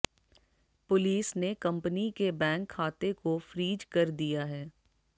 police ने company के bank खाते को फ्रीज कर दिया है